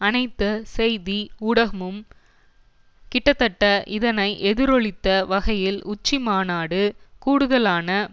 அனைத்து செய்தி ஊடகமும் கிட்டத்தட்ட இதனை எதிரொலித்த வகையில் உச்சிமாநாடு கூடுதலான